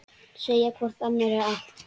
Segja hvor annarri allt.